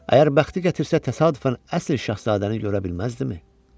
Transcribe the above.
Əgər bəxti gətirsə, təsadüfən əsl şahzadəni görə bilməzdizmi?